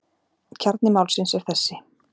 Kjarni málsins er þessi.